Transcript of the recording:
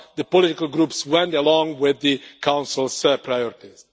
The political groups went along with the Council's priorities.